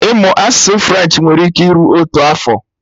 Ịmụ asụsụ French nwere ike iru otu afọ